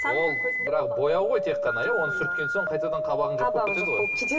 ол бірақ бояу ғой тек қана иә оны сүрткен соң қайтадан қабағың қабағы жоқ болып кетеді